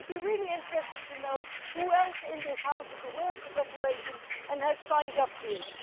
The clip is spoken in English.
I'd be really interested to know who else in this House is aware of the declaration and has signed up to it.